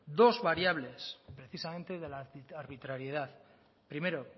dos variables precisamente de la arbitrariedad primero